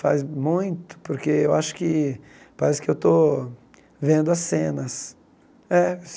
Faz muito, porque eu acho que parece que estou vendo as cenas. É